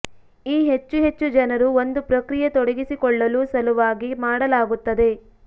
ಈ ಹೆಚ್ಚು ಹೆಚ್ಚು ಜನರು ಒಂದು ಪ್ರಕ್ರಿಯೆ ತೊಡಗಿಸಿಕೊಳ್ಳಲು ಸಲುವಾಗಿ ಮಾಡಲಾಗುತ್ತದೆ